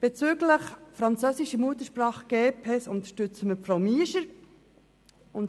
Bezüglich der Richterinnen und Richter französischer Muttersprache unterstützen wir Frau Miescher.